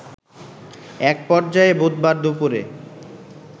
এক পর্যায়ে বুধবার দুপুরে